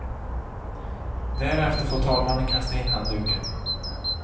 Därefter får talmannen kasta in handduken.